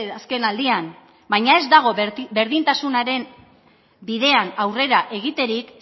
azken aldian baina ez dago berdintasunaren bidean aurrera egiterik